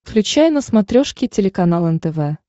включай на смотрешке телеканал нтв